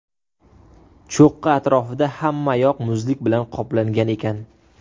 Cho‘qqi atrofida hammayoq muzlik bilan qoplangan ekan.